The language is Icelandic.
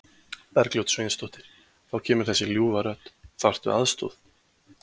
Bergljót Sveinsdóttir: Þá kemur þessi ljúfa rödd, þarftu aðstoð?